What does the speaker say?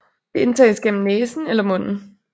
Det indtages gennem næsen eller munden